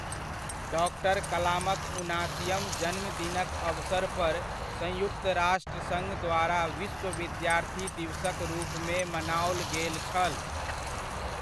Doctor कलामक उनासीअम जन्म दिनक अवसर पर संयुक्त राष्ट्र सङ्घद्वारा विश्व विद्यार्थी दिवसक रूपमे मनाओल गेल छल।